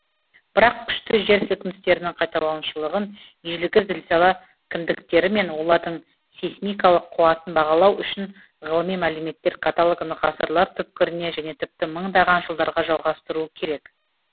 бірақ күшті жер сілкіністерінің қайталанушылығын ежелгі зілзала кіндіктері мен олардың сейсмикалық қуатын бағалау үшін ғылыми мәліметтер каталогын ғасырлар түпкіріне және тіпті мыңдаған жылдарға жалғастыру керек